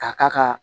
K'a k'a ka